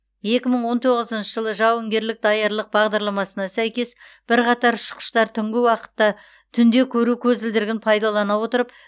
екі мың он тоғызыншы жылы жауынгерлік даярлық бағдарламасына сәйкес бірқатар ұшқыштар түнгі уақытта түнде көру көзілдірігін пайдалана отырып